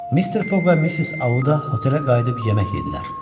Mister Foq və Missis Auda otelə qayıdıb yemək yedilər.